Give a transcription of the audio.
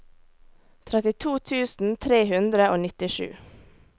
trettito tusen tre hundre og nittisju